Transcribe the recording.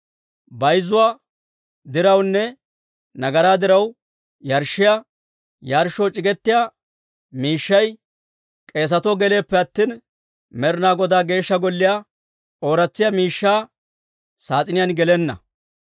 Bayzzuwaa dirawunne nagaraa diraw yarshshiyaa yarshshoo c'iggetiyaa miishshay k'eesatoo geleeppe attina, Med'ina Godaa Geeshsha Golliyaa ooratsiyaa miishshaa saas'iniyaan gelenna.